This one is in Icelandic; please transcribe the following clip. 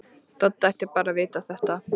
Doddi ætti bara að vita þetta.